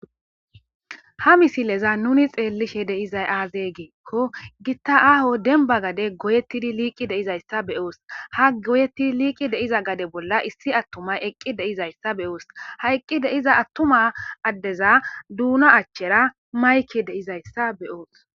Ha missilezan nuni xellishe de'zay azze gikko gitta aaho dembba gadden goyettidi liqqi de'izaysa beyos ha goyeti liqqi deyiza gadde bolla issi attumayi eqqi dizaysa beyoosi ha eqqi diza attuma duuna achchera mayikeyi de'izayisa beyoosi.